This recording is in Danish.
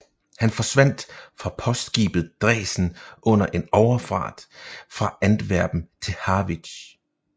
Han forsvandt fra postskibet Dresden under en overfart fra Antwerpen til Harwich